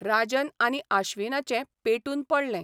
राजन आनी आश्विनाचें पेटून पडलें.